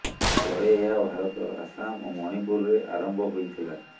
ପରେ ଏହା ଭାରତର ଆସାମ ଓ ମଣିପୁରରେ ଆରମ୍ଭ ହୋଇଥିଲା